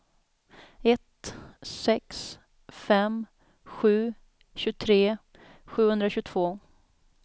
ett sex fem sju tjugotre sjuhundratjugotvå